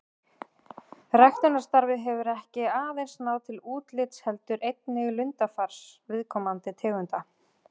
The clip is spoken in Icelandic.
Ræktunarstarfið hefur ekki aðeins náð til útlits heldur einnig lundafars viðkomandi tegunda.